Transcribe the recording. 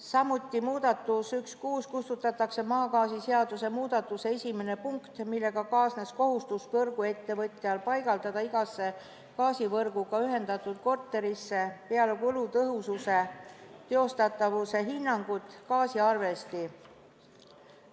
Samuti muudatus 1.6: kustutatakse maagaasiseaduse muudatuse esimene punkt, millega kaasnes võrguettevõtjale kohustus paigaldada igasse gaasivõrguga ühendatud korterisse peale kulutõhususe ja teostatavuse hindamise läbiviimist gaasiarvesti.